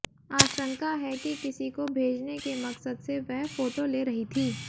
आशंका है कि किसी को भेजने के मकसद से वह फोटो ले रही थी